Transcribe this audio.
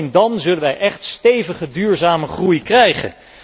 Alleen dan zullen wij echt stevige duurzame groei krijgen.